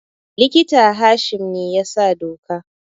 Likita Hashim ne ya sa doka